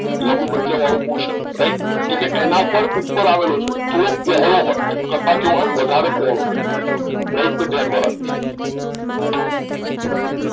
લંબમજ્જા વાળું portion right કી કે એના ઉપર ઉપર આવેલો છે થોડો પહોળો હોય કરતા કેવો હોય વધારે પહોળો હોય રાઈટ તો ધ્યાન માં રાખીશું